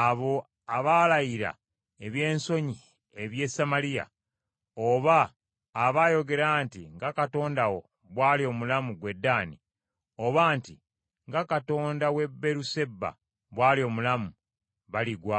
Abo abaalayira eby’ensonyi eby’e Samaliya oba abaayogera nti, ‘Nga katonda wo bw’ali omulamu ggwe Ddaani,’ oba nti, ‘Nga katonda w’e Beeruseba bw’ali omulamu,’ baligwa